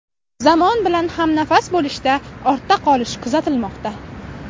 Zamon bilan hamnafas bo‘lishda ortda qolish kuzatilmoqda.